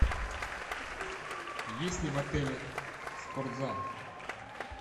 есть ли в отеле спортзал